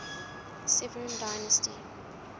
severan dynasty